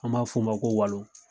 An b'a f'o ma ko walo.